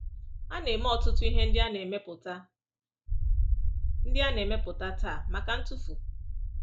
A na-eme ọtụtụ ihe ndị a na-emepụta ndị a na-emepụta taa maka ntụfu.